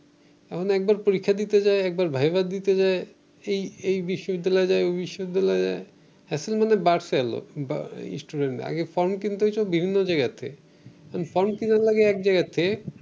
এখন একবার পরীক্ষা দিতে যায় একবার ভাইভা দিতে যায় এই এই বিশ্ববিদ্যালয়ে যায় ঐ বিশ্ববিদ্যালয়ে যায়। এখন মনে হয় বাড়ছে লোক student আগে ফর্ম কিনতে হয়তো বিভিন্ন জায়গা থেকে। এখন ফর্ম কিনা লাগে এক জায়গা থেকে